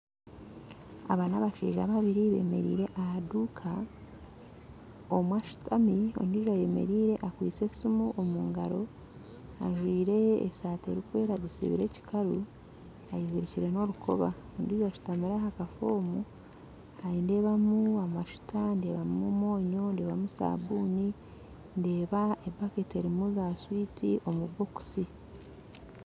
Aba nabashaija babiri bemereire ahaduuka omwe ashutami ondiijo ayemereire akwaitse esumu omungaro ajwaire esaati erikwera agisubire ekikaru ayezirikire norukoba ondiijo ayezirikore norukoba ondiijo ashutamire ahakafoomu ndeebamu amashuta ndeebamu omwonyo ndeebamu saabuni ndeeba epaketi. erimu za switi omubokusi